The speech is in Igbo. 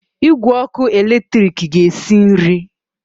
Igwe ọkụ eletrik ga-esi nri.